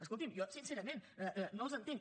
escolti’m jo sincerament no els entenc